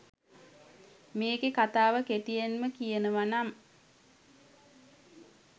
මේකේ කතාව කෙටියෙන්ම කියනවනම්